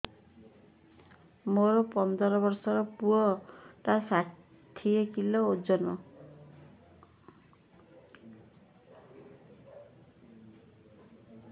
ମୋର ପନ୍ଦର ଵର୍ଷର ପୁଅ ଟା ଷାଠିଏ କିଲୋ ଅଜନ